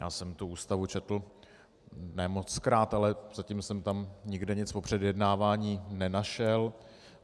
Já jsem tu Ústavu četl, ne mockrát, ale zatím jsem tam nikde nic o předjednávání nenašel.